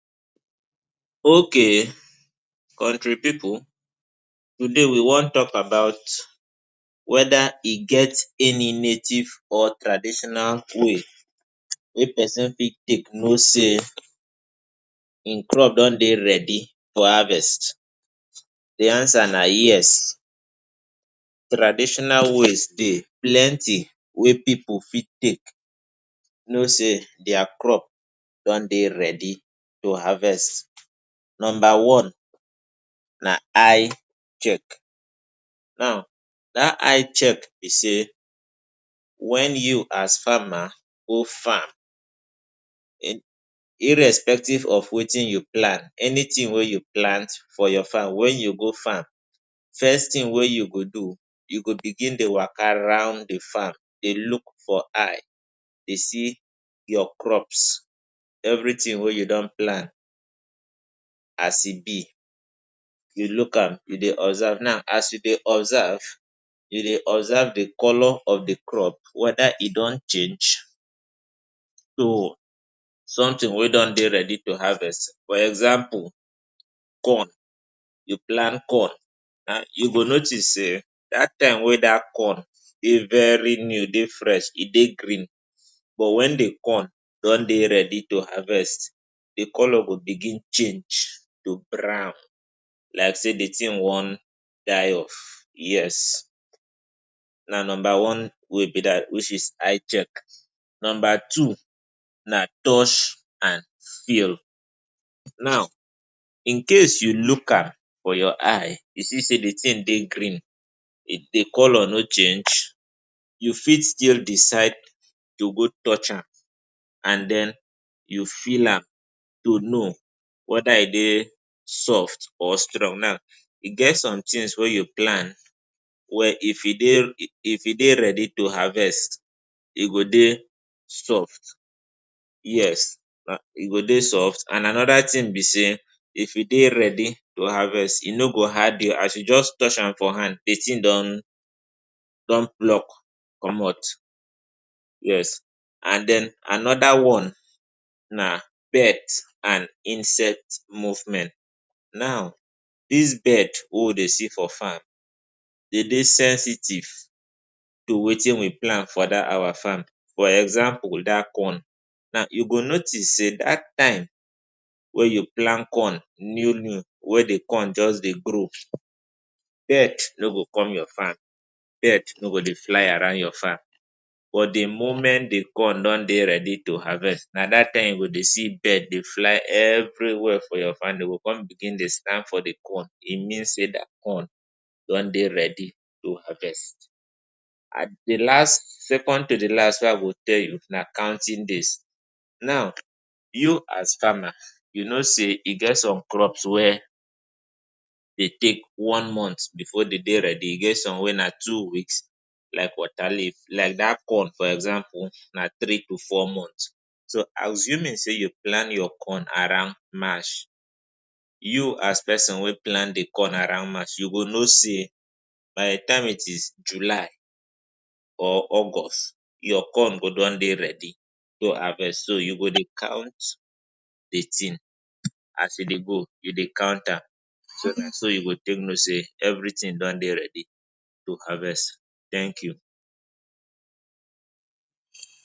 Okay Kontri pipu, today we wan talk about weda e get any native or traditional way if pesin fit take know say im crop don dey ready for harvest. Di answer na yes. Traditional ways dey plenty wey pipu fit take know say dia crop don dey ready to harvest. Number one na eye check. Now dat eye check be say, wen you as farmer go farm irrespective of wetin you plant, anytin wey you plant for your farm wen you go farm, first tin wey you go do, you go begin dey waka round di farm dey look. Your eye dey see your crops, evritin wey you don plant. As e be, you look am, you dey observe. Now, as you dey observe, you dey observe di colour of di crop, weda e don change to somtin wey don dey ready to harvest. For example, corn. You plant corn and you go notice say dat time wey dat corn dey very new, dey fresh, e dey green. But wen e come don dey ready to harvest, di colour go begin change to brown like say di tin wan die off. Yes, na number one be dat, wey be eye check. Number two na touch and feel. Now, in case you look am wit your eye, you see say di tin dey green, di colour no change, you fit still decide to go touch am and den you feel am to know weda e dey soft or strong. Now, e get some tins wey you plant wey if e dey ready to harvest, e go dey soft. Yes, e go dey soft. And anoda tin be say, if e dey ready to harvest, e no go hard oo. As you just touch am for hand, di tin don pluck comot. Yes. And den anoda one na birds and insect movement. Now dis bird wey we dey see for farm, dem dey sensitive to wetin we plant for dat our farm. For example, dat corn. You go notice say dat time wey you plant corn new new, wey di corn just dey grow, birds no go come your farm. Birds no go dey fly around your farm. But di moment di corn don dey ready to harvest, na dat time you go dey see bird dey fly evri wia for your farm. Dem go come begin dey stand for di corn. E mean say dat corn don dey ready to harvest. Di last—second to di last—wey I go tell you na counting days. Now, you as farmer, you know say e get some crops wey dey take one month before dem dey ready. E get some wey na two weeks, like water leaf. Like dat corn for example, na three to four months. So, assuming say you plant your corn around March, you as pesin wey plant di corn around March, you go know say by di time e reach July or August, your corn go don dey ready to harvest. So, you go dey count di tin as e dey go. You dey count am. So na so you go take know say evritin don dey ready to harvest. Thank you.